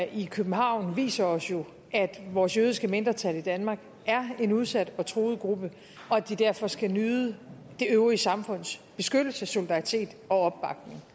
i københavn viser os jo at vores jødiske mindretal i danmark er en udsat og truet gruppe og at de derfor skal nyde det øvrige samfunds beskyttelse solidaritet og opbakning